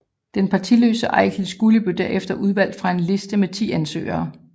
Den partiløse Egil Skúli blev derefter udvalgt fra en liste med ti ansøgere